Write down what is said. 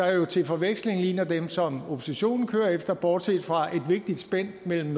jo til forveksling ligner dem som oppositionen kører efter bortset fra et vigtigt spænd mellem